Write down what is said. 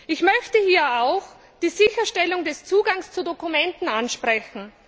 Ich möchte hier auch die Sicherstellung des Zugangs zu Dokumenten ansprechen.